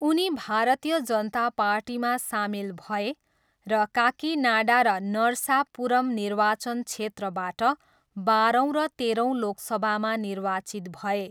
उनी भारतीय जनता पार्टीमा सामेल भए र काकिनाडा र नरसापुरम निर्वाचन क्षेत्रबाट बाह्रौँ र तेह्रौँ लोकसभामा निर्वाचित भए।